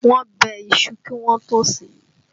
Wọ́n bẹ iṣu kí wọn tó ó sè é